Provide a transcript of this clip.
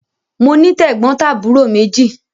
Mo ní tẹ̀gbọ́ntàbúrò méjì.